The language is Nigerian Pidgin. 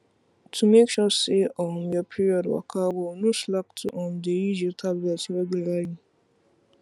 to make sure say um your period waka well no slack to um dey use your tablet regualrly